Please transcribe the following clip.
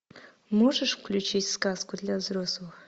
можешь включить сказку для взрослых